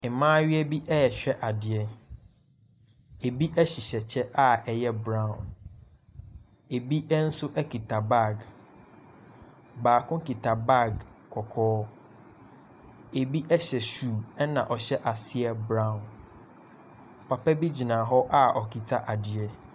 Mmayewa bi rehwɛ adeɛ. Ebi hyehyɛ kyɛ a ɛyɛ brown. Ebi nso kita bag. Baako kita bag kɔkɔɔ. Ebi hyɛ shoe, ɛnna ɔhyɛ aseɛ brown. Papa bi gyina hɔ a ɔkita adeɛ.